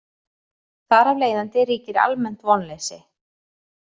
Þar af leiðandi ríkir almennt vonleysi.